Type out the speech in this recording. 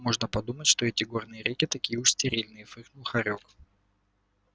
можно подумать что эти горные реки такие уж стерильные фыркнул хорёк